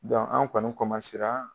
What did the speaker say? Dɔn an' kɔni ra